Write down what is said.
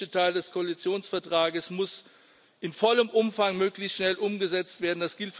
Der europäische Teil des Koalitionsvertrages muss in vollem Umfang möglichst schnell umgesetzt werden.